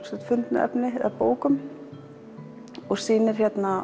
fundnu efni í bókum og sýnir